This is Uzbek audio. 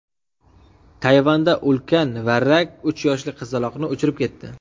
Tayvanda ulkan varrak uch yoshli qizaloqni uchirib ketdi .